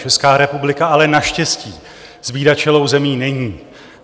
Česká republika ale naštěstí zbídačelou zemí není.